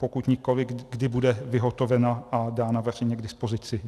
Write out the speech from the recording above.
Pokud nikoliv, kdy bude vyhotovena a dána veřejně k dispozici.